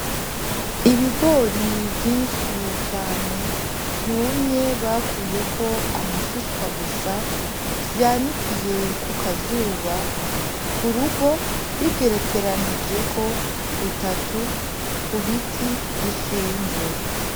Ibigori vyishi cane vyumye bakuyeko amashishwa gusa vyanikiye kuka zuba ku rugo bigerekeranijeko gutatu ku biti bishinze.